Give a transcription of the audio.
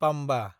Pamba